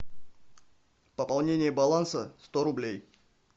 пополнение баланса сто рублей